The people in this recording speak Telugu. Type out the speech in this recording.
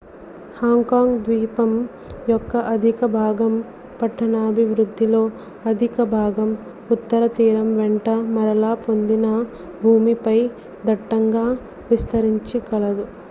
హాంగ్ కాంగ్ ద్వీపం యొక్క అధిక భాగం పట్టణాభివృద్దిలో అధిక భాగం ఉత్తర తీరం వెంట మరలా పొందిన భూమిపై దట్టంగా విస్తరించి కలదు